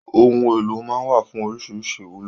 Ohun èlò náà wà fún oríṣiríṣi ìwúlò.